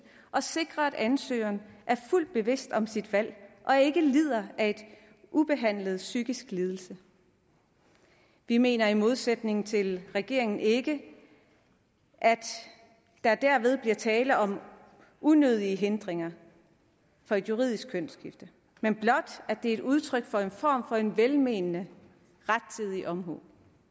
og sikre at ansøgeren er fuldt bevidst om sit valg og ikke lider af en ubehandlet psykisk lidelse vi mener i modsætning til regeringen ikke at der derved bliver tale om unødige hindringer for juridisk kønsskifte men blot at det er et udtryk for en form for en velmenende rettidig omhu